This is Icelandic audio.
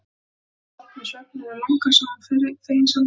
Ég hélt að þú værir sofnuð svefninum langa, sagði hún feginsamlega.